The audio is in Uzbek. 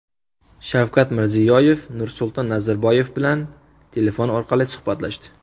Shavkat Mirziyoyev Nursulton Nazarboyev bilan telefon orqali suhbatlashdi.